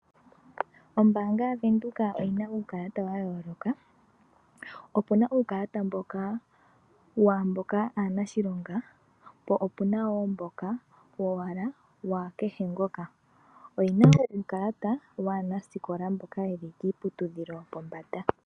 Ombaanga ya venduka oyi na uukalata wa yooloka. Opu na uukalata waamboka aanshilonga, po opuna woo mboka wowala, wakehe ngoka. Oyena woo uukalata waanasikola, mboka ye li kiiputudhilo yopombada.